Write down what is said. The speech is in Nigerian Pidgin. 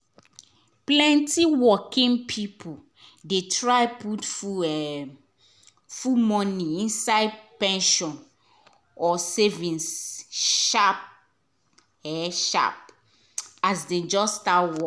plenty working people dey try put full um money inside pension or savings sharp sharp as dem just start work.